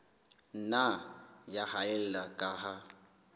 nna ya haella ka ha